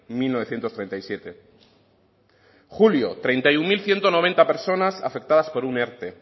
mil novecientos treinta y siete julio treinta y uno mil ciento noventa personas afectadas por un erte